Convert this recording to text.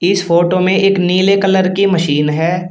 इस फोटो में एक नीले कलर की मशीन है।